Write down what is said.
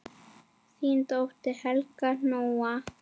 Þín dóttir, Helga Nóa.